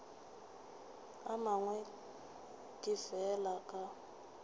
a mangwe ke fela ke